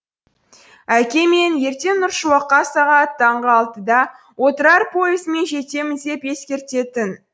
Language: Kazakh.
әке мен ертең нұршуаққа сағат таңғы алтыда отырар пойызымен жетемін деп ескертетін